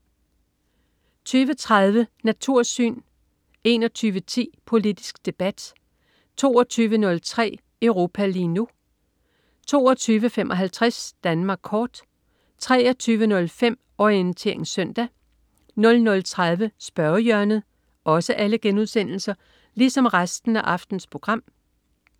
20.30 Natursyn* 21.10 Politisk Debat* 22.03 Europa lige nu* 22.55 Danmark kort* 23.05 Orientering Søndag* 00.30 Spørgehjørnet*